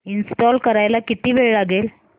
install करायला किती वेळ लागेल